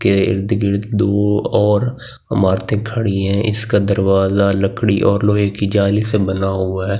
के इर्द गिर्द दो और इमारते खड़ी है इसका दरवाजा लकड़ी और लोहे कि जाली से बना हुआ है इसके --